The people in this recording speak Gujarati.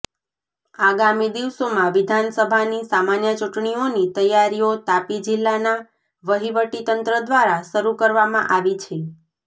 આગામી દિવસોમાં વિધાનસભાની સામાન્ય ચુંટણીઓની તૈયારીઓ તાપી જિલ્લાના વહીવટી તંત્ર દ્ધારા શરૃ કરવામાં આવી છે